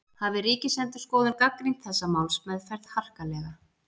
Hafi Ríkisendurskoðun gagnrýnt þessa málsmeðferð harkalega